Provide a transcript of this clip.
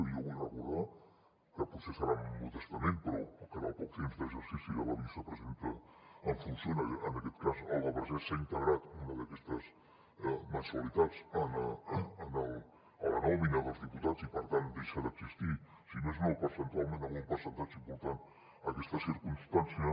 i jo vull recordar que potser serà modestament però que en el poc temps d’exercici de la vicepresidenta en funcions en aquest cas alba vergés s’ha integrat una d’aquestes mensualitats a la nòmina dels diputats i per tant deixa d’existir si més no percentualment en un percentatge important aquesta circumstància